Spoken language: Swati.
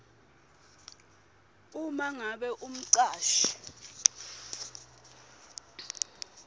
uma ngabe umcashi